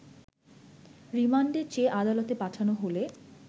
রিমান্ডে চেয়ে আদালতে পাঠানো হলে